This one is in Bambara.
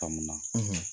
Faamu na